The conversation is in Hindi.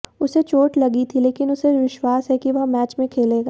उसे चोट लगी थी लेकिन उसे विश्वास है कि वह मैच में खेलेगा